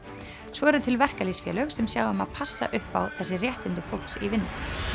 svo eru til verkalýðsfélög sem sjá um að passa upp á þessi réttindi fólks í vinnu